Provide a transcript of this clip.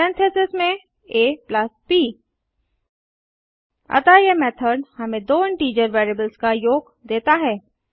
parentheses में ab अतः यह मेथड़ हमें दो इंटीजर वेरिएबल्स का योग देता है